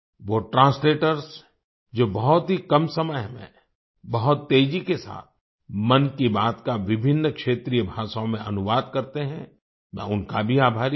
वो ट्रांसलेटर्स जो बहुत ही कम समय में बहुत तेज़ी के साथ मन की बात का विभिन्न क्षेत्रीय भाषाओं में अनुवाद करते हैं मैं उनका भी आभारी हूँ